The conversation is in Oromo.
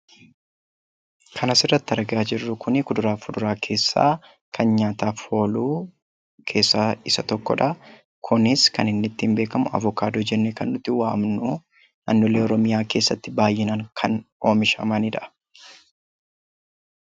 Kan asirratti argaa jirru kun kuduraa fi fuduraa keessaa kan nyaataaf oolu keessaa isa tokko dha. Kunis kan inni ittiin beekamu avokaadoo jennee kan nuti waamnu naannolee Oromiyaa keessatti baay'inaan kan oomishamaniidha.